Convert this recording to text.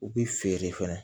U bi feere fɛnɛ